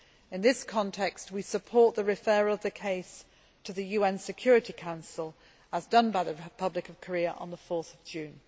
In this context, we support the referral of the case to the UN Security Council, as done by the Republic of Korea on 4 June.